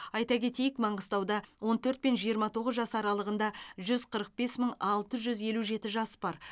айта кетейік маңғыстауда он төрт пен жиырма тоғыз жас аралығында жүз қырық бес мың алты жүз елу жеті жас бар